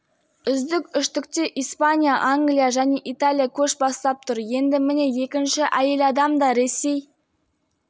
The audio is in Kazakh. үздік үштікте испания англия және италия көш бастап тұр енді міне екінші әйел адам да ресей